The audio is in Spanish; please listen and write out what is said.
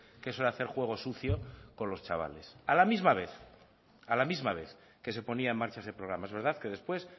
que eso era hacer juego sucio con los chavales a la misma vez que se ponía en marcha ese programa es verdad que después